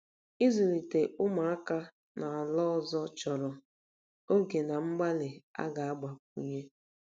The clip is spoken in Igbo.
Ịzụlite ụmụaka n'ala ọzọ chọrọ oge na mgbalị a ga-agbakwunye.